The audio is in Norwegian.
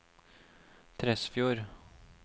Tresfjord